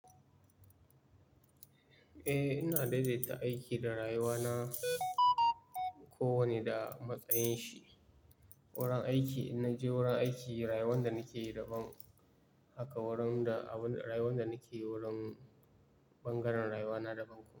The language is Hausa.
Eh, ina daidaita aiki da rayuwa na ko wane da matsayin shi. Wurin aiki in na je wurin aiki, rayuwar da nake yi daban. Haka wurin da abun rayuwar da nake yi wurin bangaren rayuwa na daban kuma.